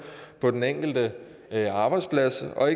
på den enkelte arbejdsplads og